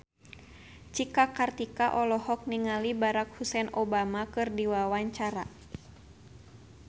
Cika Kartika olohok ningali Barack Hussein Obama keur diwawancara